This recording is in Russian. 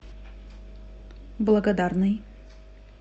благодарный